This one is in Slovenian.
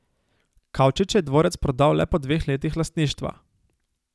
Kavčič je dvorec prodal le po dveh letih lastništva.